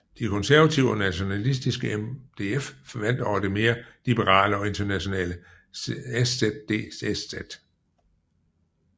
De konservative og nationalistiske MDF vandt over det mere liberale og internationale SzDSz